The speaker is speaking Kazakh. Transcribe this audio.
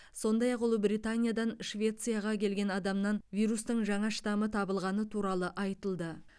сондай ақ ұлыбританиядан швецияға келген адамнан вирустың жаңа штамы табылғаны туралы айтылды